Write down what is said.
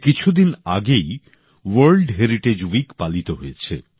কিছু দিন আগেই ওয়ার্ল্ড হেরিটেজ উইক পালিত হয়েছে